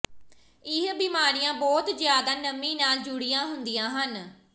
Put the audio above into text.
ਇਹ ਬਿਮਾਰੀਆਂ ਬਹੁਤ ਜ਼ਿਆਦਾ ਨਮੀ ਨਾਲ ਜੁੜੀਆਂ ਹੁੰਦੀਆਂ ਹਨ